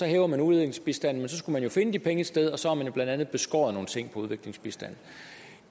hæver man udviklingsbistanden men så skulle man finde de penge et sted og så har man jo blandt andet beskåret nogle ting på udviklingsbistanden